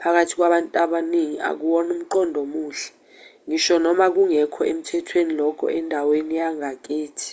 phakathi kwabantu abaningi akuwona umqondo omuhle ngisho noma kungekho emthwethweni lokho endaweni yangakini